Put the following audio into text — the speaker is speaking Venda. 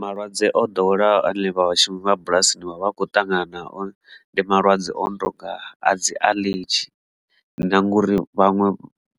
Malwadze o ḓoweleaho ane vhashumi vha bulasini vha vha kho ṱangana nao ndi malwadze o no tonga a dzi aḽedzhi na ngori vhaṅwe